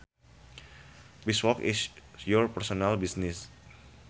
Beeswax is your personal business